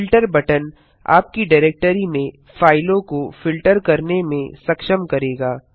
filter button आपकी directory में फाइलों को फिल्टर करने में सक्षम करेगा